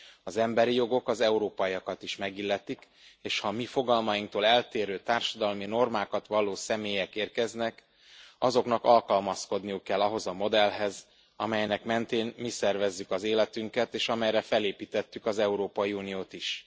Az emberi jogok az európaiakat is megilletik, és ha a mi fogalmainktól eltérő társadalmi normákat valló személyek érkeznek, azoknak alkalmazkodniuk kell ahhoz a modellhez, amelynek mentén mi szervezzük az életünket, és amelyre felépítettük az Európai Uniót is.